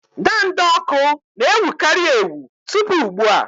ndanda ọkụ na-ewukarị ewu tupu ugbu a.